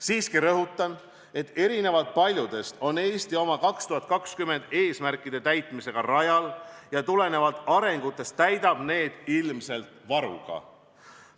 Siiski rõhutan, et erinevalt paljudest on Eesti oma 2020. aasta eesmärkide täitmisega rajal ja tulenevalt arengutest täidab need ilmselt varuga.